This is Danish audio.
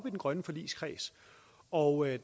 i den grønne forligskreds og